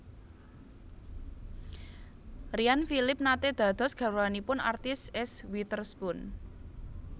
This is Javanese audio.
Ryan Phillippe nate dados garwanipun artis Eese Witherspoon